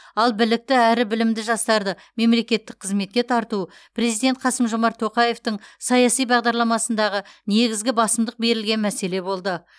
ал білікті әрі білімді жастарды мемлекеттік қызметке тарту президент қасым жомарт тоқаевтың саяси бағдарламасындағы негізгі басымдық берілген мәселе болды